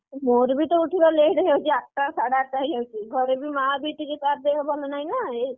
ମୋର ବି ତ ଉଠିବା late ହେଇ ଯାଉଛି ଆଠଟା ସାଢେ ଆଠଟା ହେଇ ଯାଇଛି ଘରେ ବି ମାଆ ବି ଟିକେ ତା ଦେହ ଭଲ ନାହିଁ ନା,